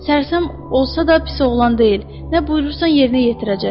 Sərsəm olsa da pis oğlan deyil, nə buyurursan yerinə yetirəcək.